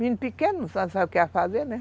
Menino pequeno, não sabe o que é a fazer, né?